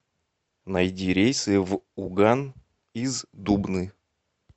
найди рейсы в уган из дубны